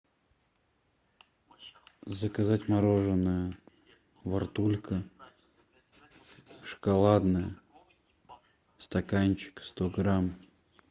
заказать мороженое вортулька шоколадное стаканчик сто грамм